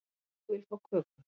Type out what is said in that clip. Ég vil fá köku